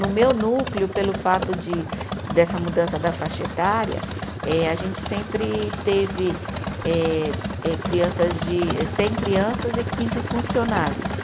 No meu núcleo, pelo fato de dessa mudança da faixa etária, eh a gente sempre teve eh eh, crianças de, cem crianças e quinze funcionários.